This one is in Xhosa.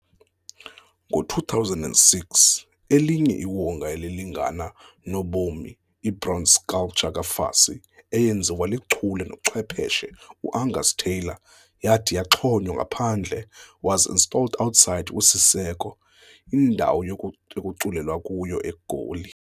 ngo2006 elinye iwonga elilingana nobomi ibronze sculpture kaFassie eyenziwa lichule nochwepheshe uAngus Taylor yahti yaxhonywa ngaphandle was installed outside kwisiseko, a indawo ekuculelwa kuyo eGoli.